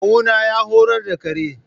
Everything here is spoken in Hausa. Kawuna ya horar da kare.